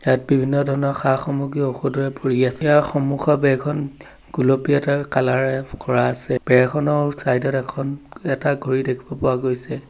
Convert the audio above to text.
ইয়াত বিভিন্ন ধৰণৰ সা-সামগ্ৰী ঔষধেৰে ভৰি আছে ইয়াৰ সন্মুখৰ বেৰখন গুলপীয়া কালাৰ এৰে কৰা আছে বেৰখনৰ চাইড ত এখন এটা ঘড়ী দেখিব পোৱা গৈছে।